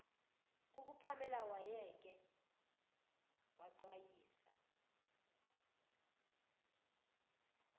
kukapamela wayeke waxwayisa